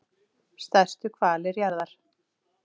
stærstu hvalir jarðar